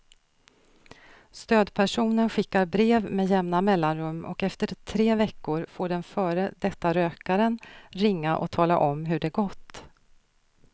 Stödpersonen skickar brev med jämna mellanrum och efter tre veckor får den före detta rökaren ringa och tala om hur det gått.